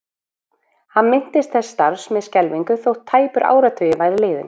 Hann minntist þessa starfs með skelfingu þótt tæpur áratugur væri liðinn.